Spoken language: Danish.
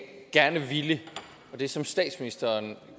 gerne ville og det som statsministeren